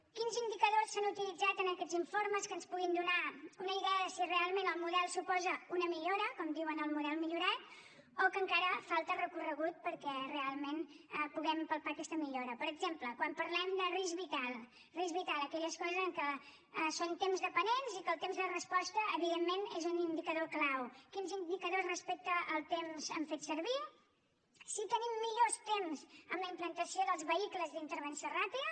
quins indicadors s’han utilitzat en aquests informes que ens puguin donar una idea de si realment el model suposa una millora com diuen el model millorat o si encara falta recorregut perquè realment puguem palpar aquesta millora per exemple quan parlem de risc vital risc vital aquelles coses en què són tempsdependents i que el temps de resposta evidentment és un indicador clau quins indicadors respecte al temps han fet servir si tenim millors temps en la implantació dels vehicles d’intervenció ràpida